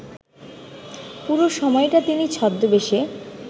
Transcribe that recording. পুরো সময়টা তিনি ছদ্মবেশে